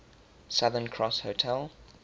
southern cross hotel